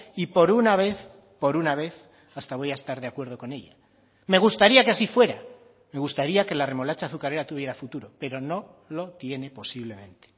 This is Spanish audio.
y por una vez por una vez hasta voy a estar de acuerdo con ella me gustaría que así fuera me gustaría que la remolacha azucarera tuviera futuro pero no lo tiene posiblemente